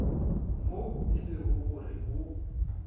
moo e lego gore go